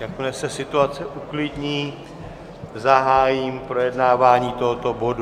Jakmile se situace uklidní, zahájím projednávání tohoto bodu.